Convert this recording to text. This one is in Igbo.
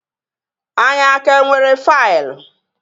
Anyị a ka nwere faịlụ?